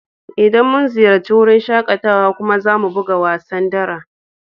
Idan mun ziyace wurin shakatawan kuma za mu buga wasan dara